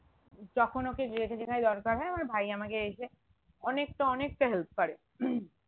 যখন ওকে যেটা যেখানে দরকার হয় আমার ভাই আমাকে এসে অনেকটা অনেকটা help করে